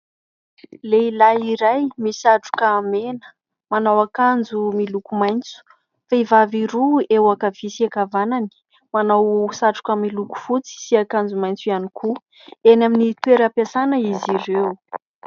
Lehilahy iray misatroka mena, manao akanjo miloko maitso, vehivavy roa eo ankavia sy ankavanany manao satroka miloko fotsy sy akanjo maitso ihany koa. Eny amin'ny toeram-piasana izy ireo.